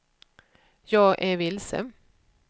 jag är vilse